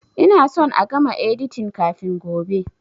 Ina son a gama editin kafin gobe!